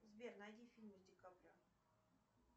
сбер найди фильмы с ди каприо